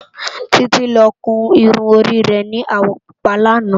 Titi lò kún irún óri rè ni áwò púpá làná